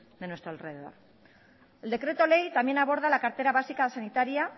de nuestro alrededor el decreto ley también aborda la cartera básica sanitaria